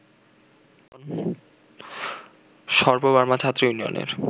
সর্ব-বার্মা ছাত্র ইউনিয়নের